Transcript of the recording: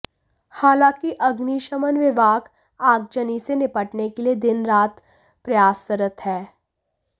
हालांकि अग्निशमन विभाग आगजनी से निपटने के लिए दिन रात प्रयासरत है